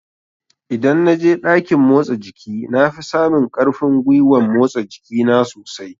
Idan na je ɗakin motsa jiki na fi samun ƙarfin gwiwan motsa jiki na sosai